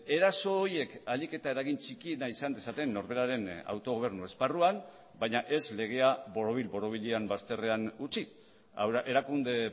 eraso horiek ahalik eta eragin txikiena izan dezaten norberaren autogobernu esparruan baina ez legea borobil borobilean bazterrean utzi erakunde